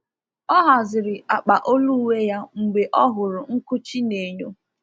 Ọ haziri akpa olu uwe ya mgbe o hụrụ nkụchi n’enyo.